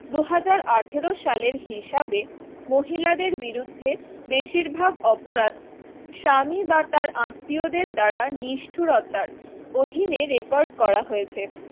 দু হাজার আঠেরো সালের হিসাবে মহিলাদের বিরুদ্ধে বেশিরভাগ অপরাধ স্বামী বা তার আত্মীয়দের দ্বারা নিষ্ঠুরতার অধীনে record করা হয়েছে